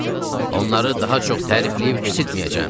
Onları daha çox tərifləyib kiçiltməyəcəm.